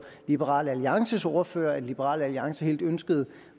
liberal alliances ordfører at liberal alliance helt ønskede